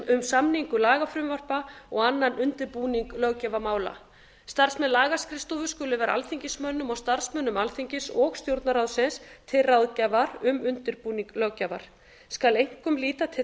um samningu lagafrumvarpa og annan undirbúning löggjafarmála starfsmenn lagaskrifstofu skulu vera alþingismönnum og starfsmönnum alþingis og stjórnarráðsins til ráðgjafar um undirbúning löggjafar skal einkum líta til